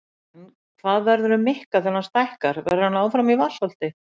En hvað verður um Mikka þegar hann stækkar, verður hann áfram í Vatnsholti?